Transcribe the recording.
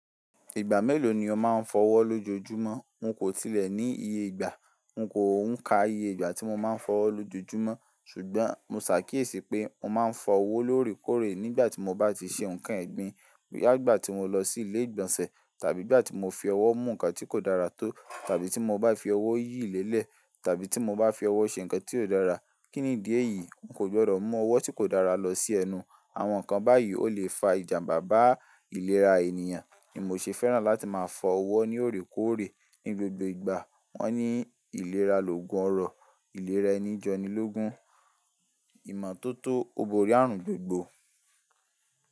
Ìgbà mélòó ni o máa ń fọ ọwọ́ lójoojúmọ́? N kò tilẹ̀ ní iye ìgbà, n kò ń ka iye ìgbà tí mo máa ń fọ ọwọ́ lójoojúmọ́ ṣùgbọ́n mo ṣàkíyèsí pé mo máa ń fọ owó lórèkórè nígbà tí mo bá ti ṣe nǹkan ẹ̀gbin, nígbà tí mo lọ sí ilé ìgbọ̀nsẹ̀ tàbí ìgbà tí mo fi ọwọ́ mú ǹkan tí kò dára tó tàbí tí mo bá fi ọwọ́ yí ìlélẹ̀ tàbí tí mo bá fi ọwọ́ ṣe ǹkan tí ò dára. Kí nìdí èyí? N kò gbọ́dọ̀ mú ọwọ́ tí kò dára lọ sí ẹnu. Àwọn ǹkan báyìí ó lè fa ìjànbá bá ìlera ènìyàn ni mò ṣe fẹ́ràn láti máa fọ ọwọ́ ní òrékórè ní gbogbo ìgbà. Wọ́n ní ìlera lògùn ọrọ, ìlera ẹni jọni lógún. Ìmọ́tótó ó borí ààrùn gbogbo.